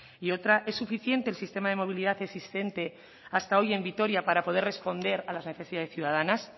y otra es suficiente el sistema de movilidad existente hasta hoy en vitoria para poder responder a las necesidades ciudadanas